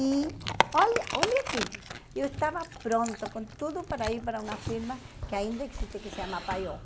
E olha olha aqui, eu estava pronta com tudo para ir para uma firma que ainda existe, que se chama.